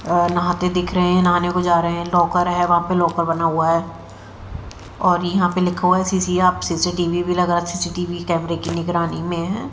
और नहाते दिख रहे हैं नहाने को जा रहे हैं लॉकर है वहां पे लाकर बना हुआ है और यहां पे लिखा हुआ है सी_सी आप सी_सी_टी_व्ही भी लगा सी_सी_टी_वी कैमरे की निगरानी में है।